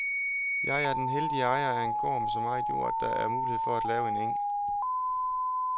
Jeg er den heldige ejer af en gård med så meget jord, at der er mulighed for at lave en eng.